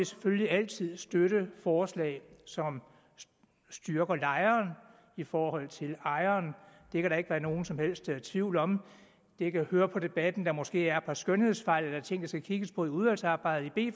selvfølgelig altid støtte forslag som styrker lejeren i forhold til ejeren det kan der ikke være nogen som helst tvivl om jeg kan høre på debatten at der måske er et par skønhedsfejl eller ting i skal kigges på i udvalgsarbejdet det